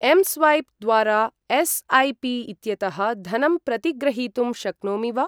M swap द्वारा एस्.ऐ.पि.इत्यतः धनं प्रतिग्रहीतुं शक्नोमि वा?